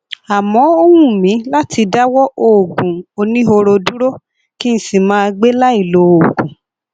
àmọ ó wù mí láti dáwọ òògùn oníhóró dúró kí n sì máa gbé láì lòògùn